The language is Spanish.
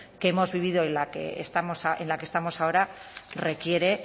que hemos vivido y en la que estamos ahora requiere